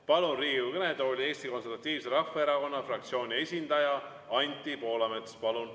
Palun Riigikogu kõnetooli Eesti Konservatiivse Rahvaerakonna fraktsiooni esindaja Anti Poolametsa.